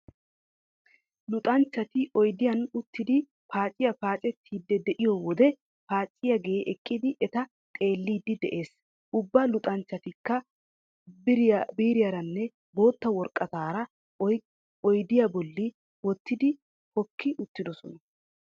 Luxanchchati oydiyan uttidi paaciya paacettidi de'iyo wode paacciyagee eqqidi eta xeelliiddi de'ees. Ubba luxanchchatikka biiriyaranne bootta woraqataara oydiya bolli wottidi hokki uttidosona.